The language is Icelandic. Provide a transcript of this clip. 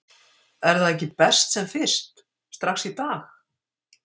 Er það ekki best sem fyrst, strax í dag??